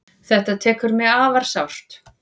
Þetta tekur mig afar sárt.